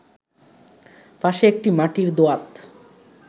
পাশে একটি মাটির দোয়াত